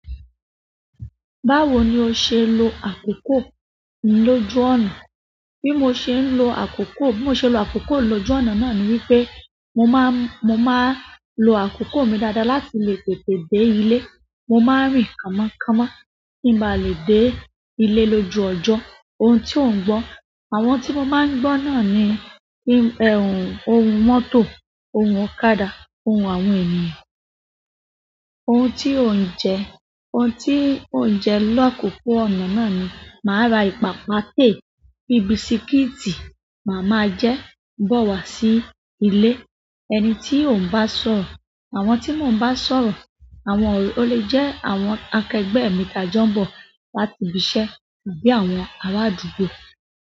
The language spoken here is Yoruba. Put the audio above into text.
Báwo ni o ṣe lo àkókò lójú ọ̀nà? Bí mo ṣe ń lo àkókò, bí mo ṣe ń lo àkókò lóju ọ̀nà náà ni wípé mo máa, mo máa lo àkókò mi dáadáa láti lè tètè dé ilé. Mo máa ń rìn kámọ́ kámọ́ kí n ba lè dé ilé lójú ọjọ́. Ohun tí ò ń gbọ́. Àwọn tí mo máa gbọ́ náà ni ohùn mọ́tọ̀, ohùn ọ̀kadà, ohùn àwọn ènìyàn. Ohun tí ò ń jẹ. Ohun tí ò ń jẹ làkókò ọ̀nà náà ni, màá ra ìpápátè bíi bisikíìtì, màá máa jẹ gbọ̀ wá sí ilé. Ẹni tí ò ń bá sọ̀rọ̀. Àwọn tí mò ń bá sọ̀rọ̀, àwọn, o lè jẹ́ àwọn akẹgbẹ́ mi tá jọ ń bọ̀ láti ibi iṣẹ́ tàbí àwọn ará àdúgbò.